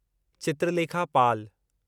Chitralekha Pal